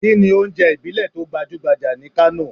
Kini ounje ibile to gbajugbaja ni Kano?